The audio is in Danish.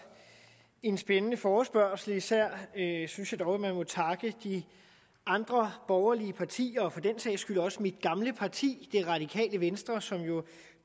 en spændende forespørgsel især synes jeg dog at jeg må takke de andre borgerlige partier og for den sags skyld også mit gamle parti det radikale venstre som jo